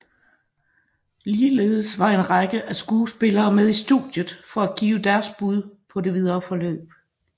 Ligeledes var en række af skuespillerne med i studiet for at give deres bud på det videre forløb